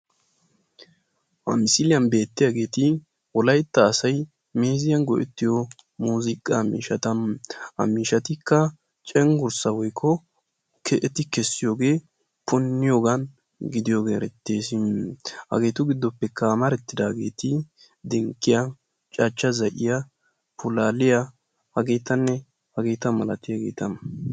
ha misiliyani beetiyagetti wolaytta assay meeziyani go"ettiyo yetta miishatta hagettikka dumma dumma cengurissa keesosona ettikka dinkiyaa, cachcha zayiyia, ulduduwa ne haratikka beettosona.